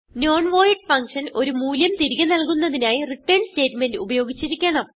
non void function ഒരു മൂല്യം തിരികെ നല്കുന്നതിനായി റിട്ടർൻ സ്റ്റേറ്റ്മെന്റ് ഉപയോഗിച്ചിരിക്കണം